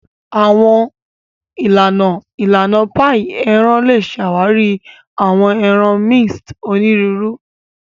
Awọn ilana ilana paii eran le ṣawari awọn ẹran minced oniruuru.